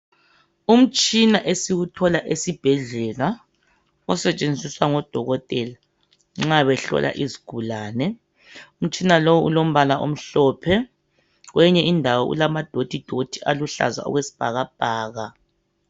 Umtshina esiwuthola esibhedlela osetshenziswa ngodokotela nxa behlola izigulane. Umtshina lowu ulombala omhlophe kweyinye indawo ulama dothi dothi aluhlaza okesibhakabhaka